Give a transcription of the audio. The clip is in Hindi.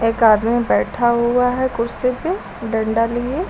एक आदमी बैठा हुआ है कुर्सी पे डंडा लिए।